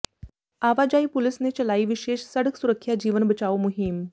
ਆਵਾਜਾਈ ਪੁਲਿਸ ਨੇ ਚਲਾਈ ਵਿਸ਼ੇਸ਼ ਸੜਕ ਸੁਰੱਖਿਆ ਜੀਵਨ ਬਚਾਓ ਮੁਹਿੰਮ